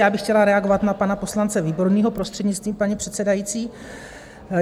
Já bych chtěla reagovat na pana poslance Výborného, prostřednictvím paní předsedající.